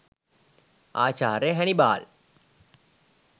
ආචාර්ය හැනිබාල්